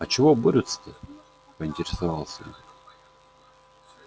а чего борются-то поинтересовалась я